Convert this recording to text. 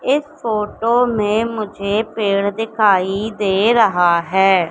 इस फोटो में मुझे पेड़ दिखाई दे रहा है।